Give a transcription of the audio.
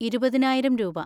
ഇരുപതിനായിരം രൂപ.